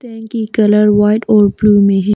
Tank की colour white और blue में है।